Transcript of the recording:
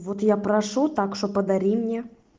вот я прошу так что подари мне